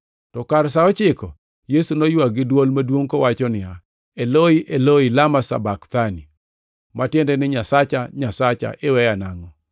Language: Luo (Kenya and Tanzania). To kar sa ochiko, Yesu noywak gi dwol maduongʼ kowacho niya, \+wj “Eloi, Eloi, lama sabakthani?”\+wj* + 27:46 \+xt Zab 22:1\+xt* (ma tiende ni, “Nyasacha, Nyasacha, iweya nangʼo?”).